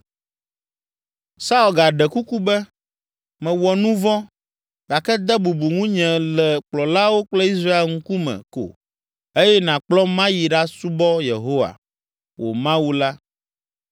Saul gaɖe kuku be, “Mewɔ nu vɔ̃ gake de bubu ŋunye le kplɔlawo kple Israel ŋkume ko eye nàkplɔm mayi aɖasubɔ Yehowa, wò Mawu la.”